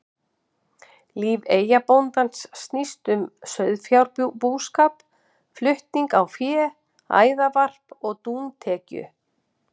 Líf eyjabóndans snýst um sauðfjárbúskap og flutning á fé, æðarvarp og dúntekju.